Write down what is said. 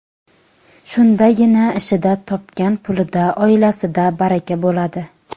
Shundagina ishida, topgan pulida, oilasida baraka bo‘ladi.